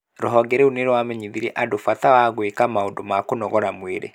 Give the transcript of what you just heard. Ruhonge rũu nirwamenyirhirie andũ bata wa gwĩka maũndũ ma kũnogora mwĩrĩ